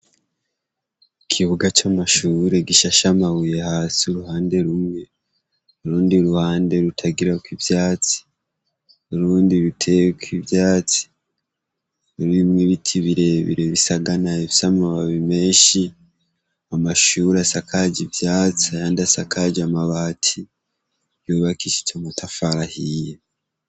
Ikibuga c'amashure gishashamabuye hasi uruhande rumwe urundi uruhande rutagirako ivyatsi urundi biteyeko ivyatsi rurimwe ibiti birebire bisaganayo vyo amababi menshi amashuri asakaji ivyatsi ayandi asakaji amabare ati yubakishije amutafarahiye.